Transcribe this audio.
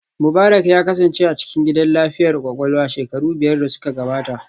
Mubarak ya kasance a cikin gidan lafiyar kwakwalwa shekaru biyar da suka gabata